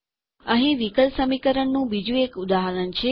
અહીં વિકલ સમીકરણનું બીજું એક ઉદાહરણ છે